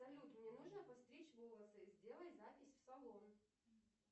салют мне нужно постричь волосы сделай запись в салон